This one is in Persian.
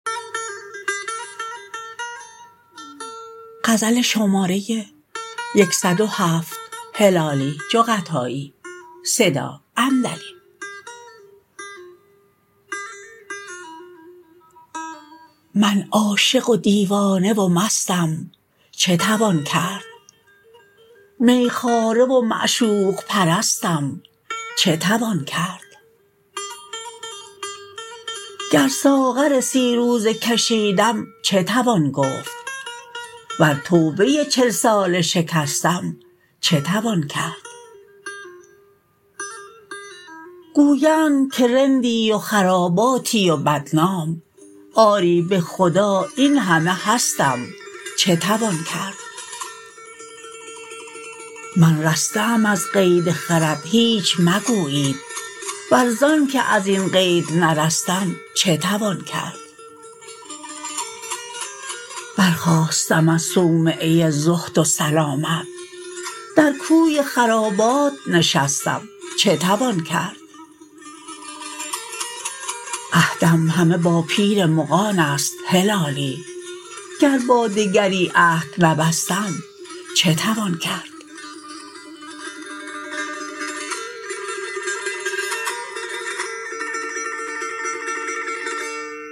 من عاشق و دیوانه و مستم چه توان کرد می خواره و معشوق پرستم چه توان کرد گر ساغر سی روزه کشیدم چه توان گفت ور توبه چل ساله شکستم چه توان کرد گویند که رندی و خراباتی و بد نام آری بخدا این همه هستم چه توان کرد من رسته ام از قید خرد هیچ مگویید ور زانکه ازین قید نرستم چه توان کرد برخاستم از صومعه زهد و سلامت در کوی خرابات نشستم چه توان کرد عهدم همه با پیر مغانست هلالی گر با دگری عهد نبستم چه توان کرد